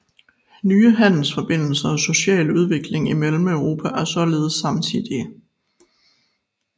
Nye handelsforbindelser og social udvikling i Mellemeuropa er således samtidige